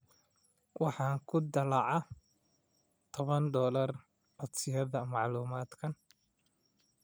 (Waxaan ku dallacaa toban dolar codsiyada macluumaadkan.)